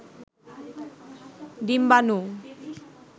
ডিম্বানু